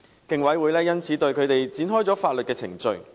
競委會因此對他們展開法律程序。